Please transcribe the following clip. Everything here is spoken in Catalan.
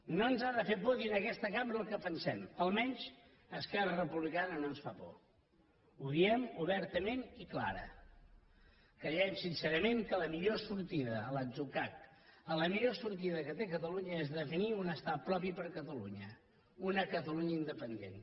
no ens ha de fer por dir en aquesta cambra el que pensem almenys a esquerra republicana no ens fa por ho diem obertament i clara creiem sincerament que la millor sortida a l’atzucac la millor sortida que té catalunya és definir un estat propi per a catalunya una catalunya independent